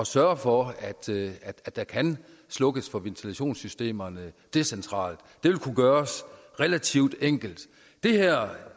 sørge for at der kan slukkes for ventilationssystemerne decentralt det ville kunne gøres relativt enkelt